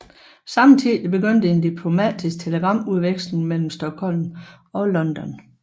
Samtidig begyndte en diplomatisk telegramudveksling mellem Stockholm og London